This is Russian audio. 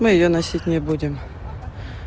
емы её носить не будем